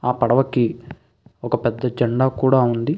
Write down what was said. ఆ పడవకి ఒక పెద్ద జండా కూడా ఉంది.